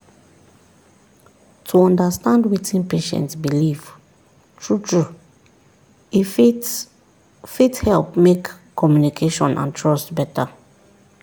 to understand wetin patient believe true-true e fit fit help make communication and trust better.